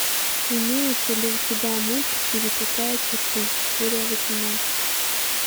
имеется ли у тебя мульт пересекая черту серия восемнадцать